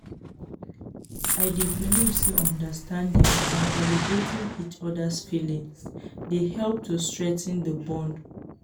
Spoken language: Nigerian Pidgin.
i dey believe say understanding and validating each other's feelings dey help to strengthen di bond.